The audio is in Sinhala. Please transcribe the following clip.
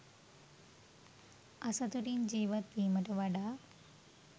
අසතුටින් ජීවත් වීමට වඩා